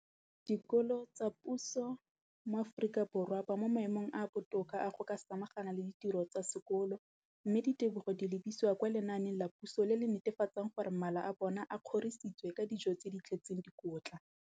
Dikolo tsa puso mo Aforika Borwa ba mo maemong a a botoka a go ka samagana le ditiro tsa bona tsa sekolo, mme ditebogo di lebisiwa kwa lenaaneng la puso le le netefatsang gore mala a bona a kgorisitswe ka dijo tse di tletseng dikotla.